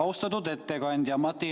Austatud ettekandja!